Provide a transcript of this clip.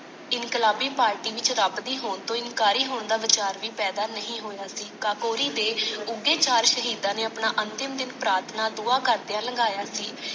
ਇਨਕਲਾਬੀ party ਵਿਚ ਰੱਬ ਦੀ ਹੋਣ ਤੋ ਇਨਕਾਰੀ ਹੋਣ ਦਾ ਵੀਚਾਰ ਵੀ ਪੈਦਾ ਨਹੀਂ ਹੋਇਆ ਸੀ ਕਾਕੋਰੀ ਦੇ ਉੱਘੇ ਚਾਰ ਸ਼ਹੀਦਾਂ ਨੇ ਆਪਣਾ ਅੰਤਿਮ ਦਿਨ ਪ੍ਰਾਰਥਨਾ ਦੁਆ ਕਰਦਿਆਂ ਲੰਘਾਇਆ ਸੀ।